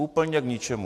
Úplně k ničemu.